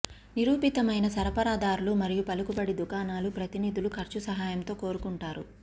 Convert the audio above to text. నిరూపితమైన సరఫరాదారులు మరియు పలుకుబడి దుకాణాలు ప్రతినిధులు ఖర్చు సహాయంతో కోరుకుంటారు